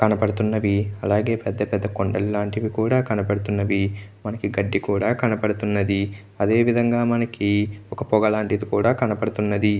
కనబడుతున్నవి. అలాగే పెద్ద కొండలు లాంటివి కూడా కనబడుతున్నవి. మనకి గడ్డి కూడా కనబడుతున్నది. అదేవిధంగా మనకి ఒక పొగలాంటిది కూడా కనబడుతున్నది.